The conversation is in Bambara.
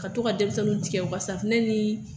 Ka to ka denmisɛnnin tɛgɛ ko safunɛ ni